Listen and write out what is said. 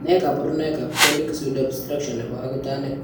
Nee kabarunoikab Chronic pseudoobstruction nebo akutanik?